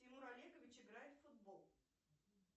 тимур олегович играет в футбол